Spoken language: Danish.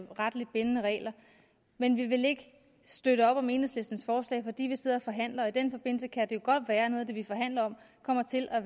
retligt bindende regler men vi vil ikke støtte op om enhedslistens forslag fordi vi sidder og forhandler og i den forbindelse kan det jo godt være at noget af det vi forhandler om kommer til at